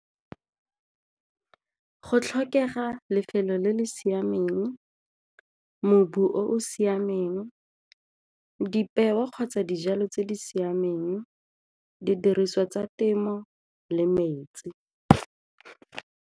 Go tlhokega lefelo le le siameng, mobu o o siameng, dipeo kgotsa dijalo tse di siameng, didiriswa tsa temo le metsi.